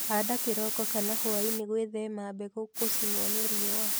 handa kĩroko kana hwaĩnĩ gwĩthema mbegũ gũchinwo ni riũa